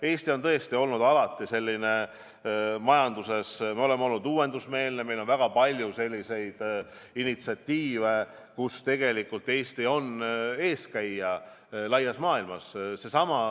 Eesti on tõesti alati olnud selline uuendusmeelne majandus, meil on väga palju selliseid initsiatiive, millega Eesti on tegelikult laias maailmas eeskäija olnud.